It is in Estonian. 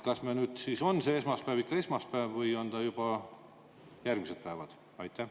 Kas nüüd siis on esmaspäev ikka esmaspäev või on ta juba järgmised päevad?